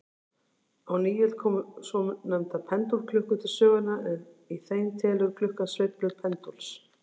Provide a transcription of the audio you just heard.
Á nýöld komu svonefndar pendúlklukkur til sögunnar, en í þeim telur klukkan sveiflur pendúls.